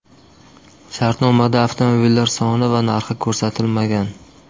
Shartnomada avtomobillar soni va narxi ko‘rsatilmagan.